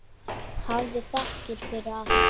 Hafðu þakkir fyrir allt.